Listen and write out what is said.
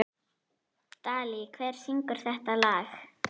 Dalí, hver syngur þetta lag?